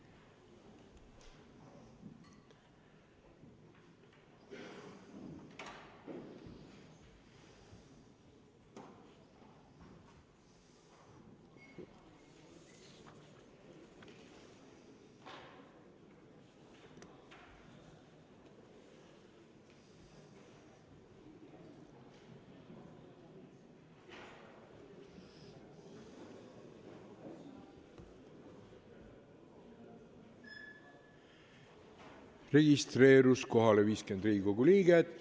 Kohaloleku kontroll Kohalolijaks registreerus 50 Riigikogu liiget.